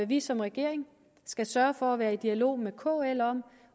vi som regering skal sørge for at være i dialog med kl om